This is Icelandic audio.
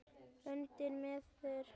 Ungi maður